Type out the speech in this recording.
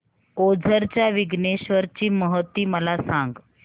ओझर च्या विघ्नेश्वर ची महती मला सांग